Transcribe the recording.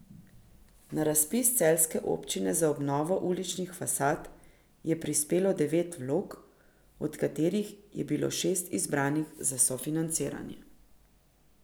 Na razpis celjske občine za obnovo uličnih fasad je prispelo devet vlog, od katerih je bilo šest izbranih za sofinanciranje.